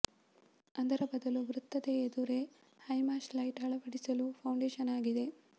ಅದರ ಬದಲು ವೃತ್ತದ ಎದುರೇ ಹೈಮಾಸ್ಟ್ ಲೈಟ್ ಅಳವಡಿಸಲು ಫೌಂಡೇಶನ್ ಆಗಿದೆ